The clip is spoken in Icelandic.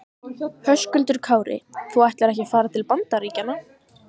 Höskuldur Kári: Þú ætlar ekki að fara til Bandaríkjanna?